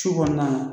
Su kɔnɔna